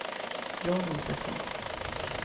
Jan Isaksson